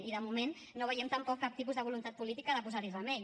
i de moment no veiem tampoc cap tipus de voluntat política de posar hi remei